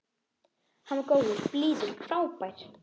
Hann var góður, blíður, frábær.